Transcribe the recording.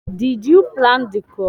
Did you plant the crop?